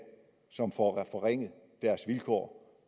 som får forringet deres vilkår